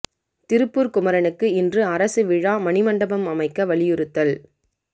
திருப்பூர் குமரனுக்கு இன்று அரசு விழா மணி மண்டபம் அமைக்க வலியுறுத்தல்